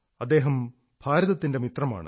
അദ്ദേഹം ഭാരതത്തിന്റെ മിത്രമാണ്